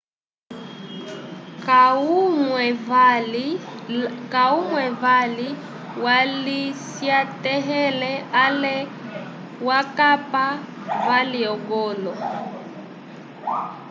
kahumwe vali walisyatahele ale wakapa vali ogolo